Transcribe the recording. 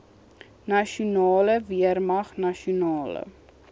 nasionale weermag nasionale